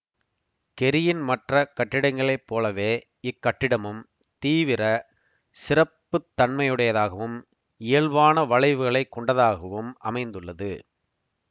கெரியின் மற்ற கட்டிடங்களைப் போலவே இக் கட்டிடமும் தீவிர சிறப்புத்தன்மையுடையதாகவும் இயல்பான வளைவுகளைக் கொண்டதாகவும் அமைந்துள்ளது